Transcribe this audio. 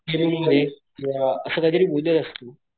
किंवा असं काही तरी बोललेलास तू.